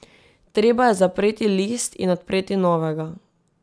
Treba je zapreti list in odpreti novega.